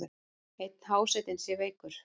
Einn hásetinn sé veikur.